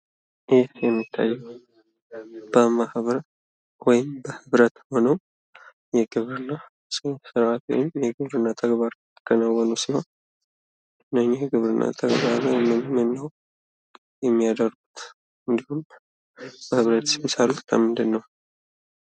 ይህ የሚታየው በማህበር ወይም በህብረት ሆነው የግብርና ሰራተኞች የግብርና ተግባር እያከናወኑ ሲሆን ይህ የግብርና ተግባር ምንምን ነው የሚያደርጉት? እንድሁም በህብረትስ የሚሰሩት ልምንድን ነው?